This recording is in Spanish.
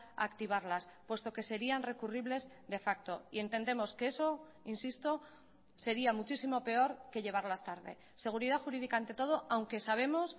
a activarlas puesto que serían recurribles de facto y entendemos que eso insisto sería muchísimo peor que llevarlas tarde seguridad jurídica ante todo aunque sabemos